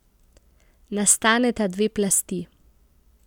Nastaneta dve plasti.